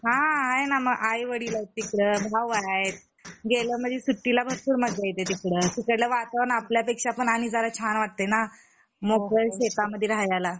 हा आहेना आई वडील आहे तिकडं मग भाऊ हाय गेलं म्हणजे सुट्टीला भरपूर मज्जा येत तिकड तिकडलं वातावरण आपल्या पेक्षा पण आणि जरा छान वाटयेना मोकळं शेतामध्ये राहायला